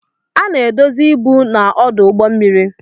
A na-edozi ibu na ọdụ ụgbọ mmiri.